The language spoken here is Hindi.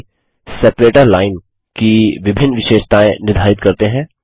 साथ ही सेपरेटर लाइन विभाजक रेखा की विभिन्न विशेषतायें निर्धारित करते हैं